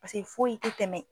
Paseke foyi ti tɛmɛ